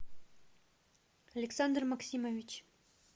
александр максимович